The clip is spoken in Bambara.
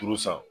Turu san